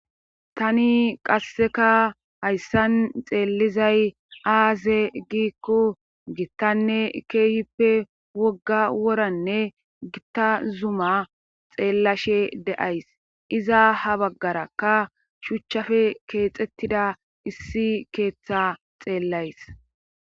tani qasseka hayssan xeellizay aaze giikko gittanne keeyippe wogga woranne gitta zuma xeellashe days. iza ha baggarakka shuuchchafe keexettida issi keeththa xeellays.